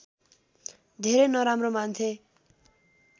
धेरै नराम्रो मान्थे